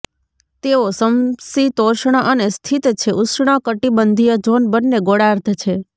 તેઓ સમશીતોષ્ણ અને સ્થિત છે ઉષ્ણકટિબંધિય ઝોન બંને ગોળાર્ધ છે